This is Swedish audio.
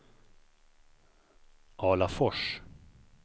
Alafors